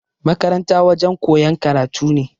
Makaranta wajen koyan karatu ne